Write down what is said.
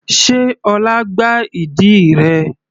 Sé ọlá gbá ìdí rẹ?